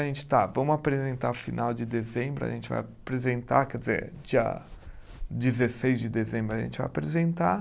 A gente tá, vamos apresentar final de dezembro, a gente vai apresentar, quer dizer, dia dezesseis de dezembro a gente vai apresentar.